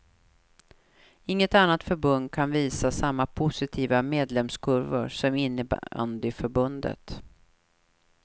Inget annat förbund kan visa samma positiva medlemskurvor som innebandyförbundet.